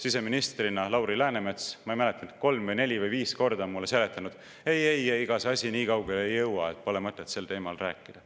Siseministrina Lauri Läänemets, ma ei mäleta, kolm, neli või viis korda seletas mulle, et ei-ei, ega see asi nii kaugele ei jõua, pole mõtet sel teemal rääkida.